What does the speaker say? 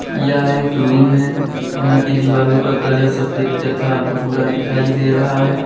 यह एक रूम है यहां की दिवालों का कलर सफेद तथा भूरा दिखाई दे रहा है।